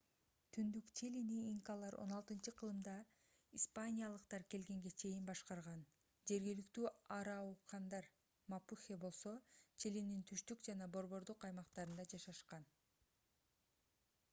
түндүк чилини инкалар 16-кылымда испаниялыктар келгенге чейин башкарган жергиликтүү араукандар мапухе болсо чилинин түштүк жана борбордук аймактарында жашашкан